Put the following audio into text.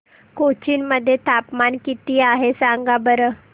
कोचीन मध्ये तापमान किती आहे सांगा बरं